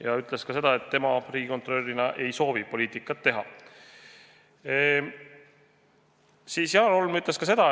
Ka ütles ta, et tema riigikontrolörina ei soovi poliitikat teha.